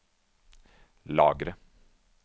lagre